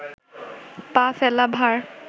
পা ফেলা ভার